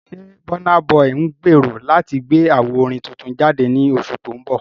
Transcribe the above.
Ṣé Burna Boy ń gbèrò láti gbé àwo orin tuntun jáde ní oṣù tó ń bọ̀?